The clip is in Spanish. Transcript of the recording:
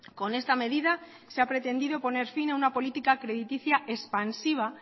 con esta medida se ha pretendido poner fin a una política crediticia expansiva